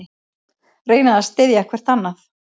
Reyna að styðja hvert annað